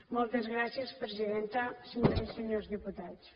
moltes gràcies presidenta senyores i senyors diputats